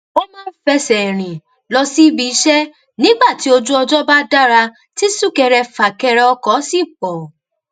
ó máa ń fẹsè rìn lọ sí ibiiṣẹ nígbà tí ojú ọjó bá dára tí súkẹrẹfàkẹrẹ ọkò sì pò